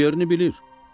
O yerini bilir.